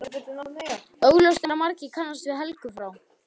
Augljóst er að margir kannast við Helgu frá